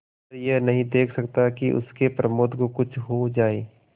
पर यह नहीं देख सकता कि उसके प्रमोद को कुछ हो जाए